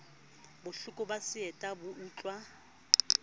bohloko ba seeta bo utluwa